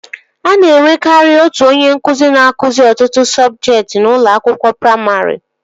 A na-enwekari otu onye nkụzi na-akụzi ọtụtụ sọbjektị n'ụlọ akwụkwọ praimarị